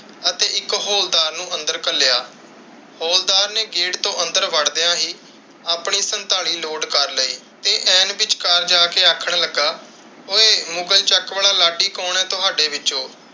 ਅਤੇ ਇੱਕ ਹਵਲਦਾਰ ਨੂੰ ਅੰਦਰ ਘੱਲਿਆ। ਹਵਲਦਾਰ ਨੇ ਗੇਟ ਤੋਂ ਅੰਦਰ ਵੜਦਿਆਂ ਹੀ ਆਪਣੀ ਸਨਤਾਲੀ ਲੋਡ ਕਰ ਲਈ ਤੇ ਐਨ ਵਿਚਕਾਰ ਜਾ ਕੇ ਆਖਣ ਲੱਗਾ ਓਏ ਮੁਗ਼ਲ ਚੱਕ ਵਾਲਾ ਲਾਠੀ ਕੌਣ ਹੈ ਤੁਹਾਡੇ ਵਿਚੋਂ?